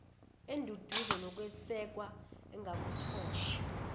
enduduzo nokwesekwa engakuthola